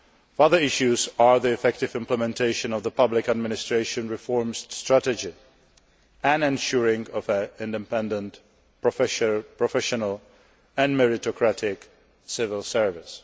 Further issues are the effective implementation of the public administration reform strategy and ensuring an independent, professional and meritocratic civil service.